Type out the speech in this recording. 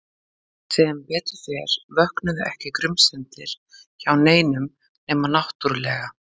Sem betur fer vöknuðu ekki grunsemdir hjá neinum nema náttúrlega